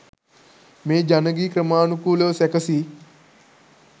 මේ ජන ගී ක්‍රමානුකූලව සැකසී